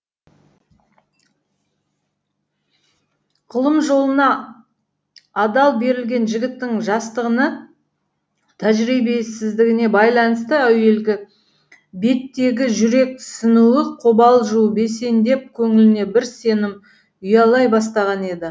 ғылым жолына адал берілген жігіттің жастығына тәжірибесіздігіне байланысты әуелгі беттегі жүрексінуі қобалжуы бәсеңдеп көңіліне бір сенім ұялай бастаған еді